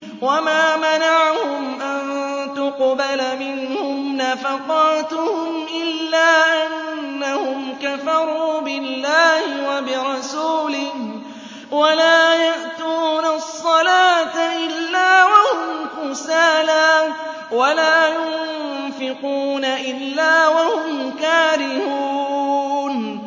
وَمَا مَنَعَهُمْ أَن تُقْبَلَ مِنْهُمْ نَفَقَاتُهُمْ إِلَّا أَنَّهُمْ كَفَرُوا بِاللَّهِ وَبِرَسُولِهِ وَلَا يَأْتُونَ الصَّلَاةَ إِلَّا وَهُمْ كُسَالَىٰ وَلَا يُنفِقُونَ إِلَّا وَهُمْ كَارِهُونَ